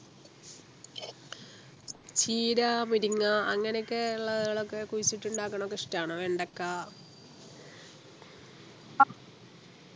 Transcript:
ചീരാ മുരിങ്ങ അങ്ങനെയൊക്കെയുള്ളതൊക്കെ കുഴിച്ചിട്ട് ഉണ്ടാക്കുന്നത് ഇഷ്ടമാണോ വെണ്ടയ്ക്ക